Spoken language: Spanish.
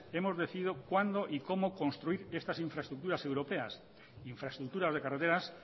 hemos decidido cuándo y cómo construir estas infraestructuras europeas infraestructuras de carreteras